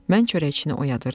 Mən çörəkçini oyadırdım.